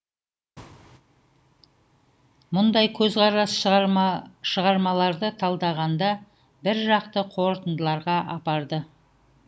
мұндай көзқарас шығармаларды талдағанда бір жақты қорытындыларға апарды